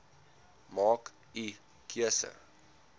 maak u keuse